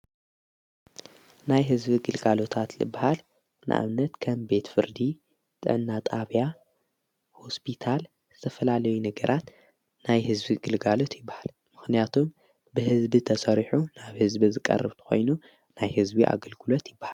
ናይ ሕዝቢ ግልጋሉታት ልበሃል ንኣምነት ከም ቤት ፍርዲ ጠናጣብያ ሆስፒታል ዝዝተፈላለይ ነገራት ናይ ሕዝቢ ግልጋሉት ይበሃል ምኽንያቱም ብሕዝቢ ተሠሪሑ ናብ ሕዝቢ ዝቀርብቲ ኾይኑ ናይ ሕዝቢ ኣገልግለት ይበሃል።